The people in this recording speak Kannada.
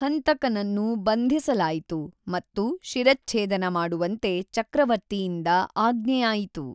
ಹಂತಕನನ್ನು ಬಂಧಿಸಲಾಯಿತು ಮತ್ತು ಶಿರಚ್ಛೇದನ ಮಾಡುವಂತೆ ಚಕ್ರವರ್ತಿಯಿಂದ ಆಜ್ಞೆಯಾಯಿತು.